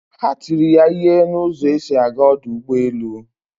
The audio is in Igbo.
Ha tiri ya ihe na ụzọ esi aga ọdụ ụgbọ elu